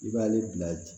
I b'ale bila